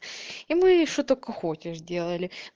и мы что только хочешь делали